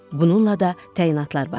Bununla da təyinatlar başladı.